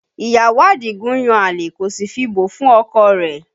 Ìyàwó Adigun ń yan àlè kò sì fi bò fún ọkọ rẹ̀